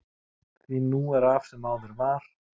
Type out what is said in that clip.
Því nú er af sem áður var.